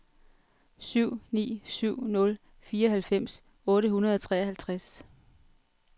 syv ni syv nul fireoghalvfems otte hundrede og treoghalvtreds